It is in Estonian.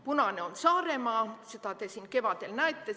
Punane on Saaremaa, seda te kevadel nägite.